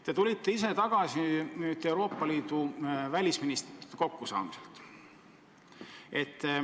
Te tulite äsja tagasi Euroopa Liidu välisministrite kokkusaamiselt.